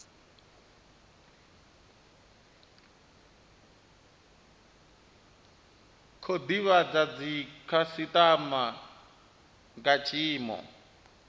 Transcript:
khou divhadza dzikhasitama nga tshiimo